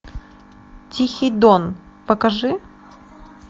тихий дон покажи